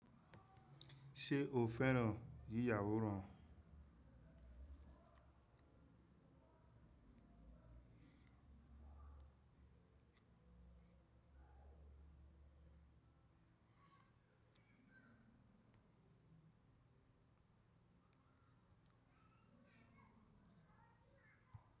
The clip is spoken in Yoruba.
Ṣé o fẹ́ràn yíya wóran?